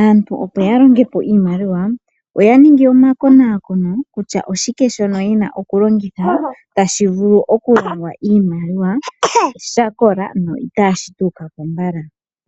aantu opo ya longepo iimaliwa oya ningi omakonakono kutya oshike dhono yena oku longitha tashi vulu oku longa iimaliwa sha kola na itashi tuukapo mbala.